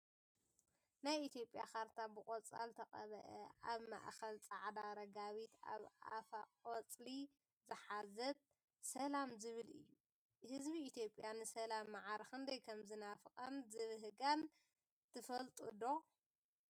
ናይ ኢትዮጵያ ካርታ ብቆፃል ተቀበአ ኣብ ማእከላ ፃዕዳ ረጋቢት ኣብ ኣፋ ቆፅሊ ዝሓዘት ሰላም ዝብል እዩ። ህዝቢ ኢትዮጵያ ንሰላም ማዕረ ክንደይ ከምዝናፈቃን ዝባሃጋን ትፈልጡ ዶ?